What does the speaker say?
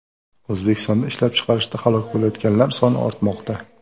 O‘zbekistonda ishlab chiqarishda halok bo‘layotganlar soni ortmoqda.